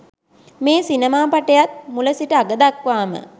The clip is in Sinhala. මේ සිනමාපටයත් මුල සිට අග දක්වාම